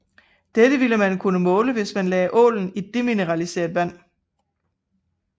Dette ville man kunne måle hvis man lagde ålen i demineraliseret vand